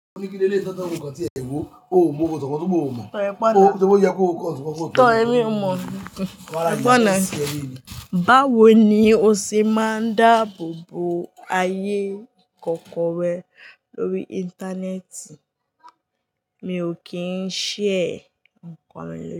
Báwo ni o ṣe máa ń dáàbò bo ayé ikọ̀kọ̀ rẹ lórí Íńtánẹ́ẹ̀tì? Mi ò kín ṣhare ǹkan mi ló.